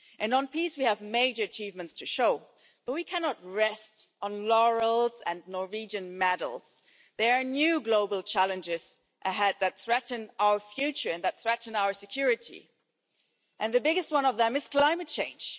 On peace, we have major achievements to show, but we cannot rest on laurels and Norwegian medals there are new global challenges ahead that threaten our future and our security, and the biggest one of them is climate change.